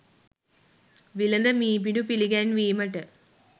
විලද මී පිඬු පිළිගැන්වීමට